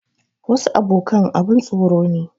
Wasu abokan abun tsoro ne.